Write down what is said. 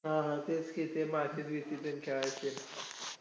जेवण झाल्यावर थोडा वेळ दहा पंधरा मिनिटात खेळ खेळायचो .खेळ खेळायचो नंतर मग